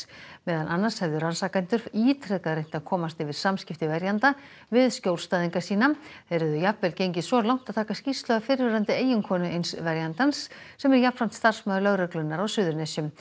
meðal annars hefðu rannsakendur ítrekað reynt að komast yfir samskipti verjenda við skjólstæðinga sína þeir hefðu jafnvel gengið svo langt að taka skýrslu af fyrrverandi eiginkonu eins verjandans sem er jafnframt starfsmaður lögreglunnar á Suðurnesjum